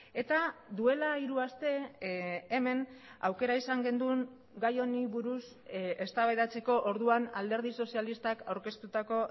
eta duela hiru aste hemen aukera izan genuen gai honi buruz eztabaidatzeko orduan alderdi sozialistak aurkeztutako